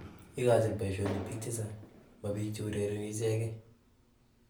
Igochin poishonik piik chechang, mo piik che urereni ichegen